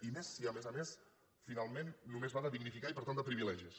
i més si a més a més finalment només va de dignificar i per tant de privilegis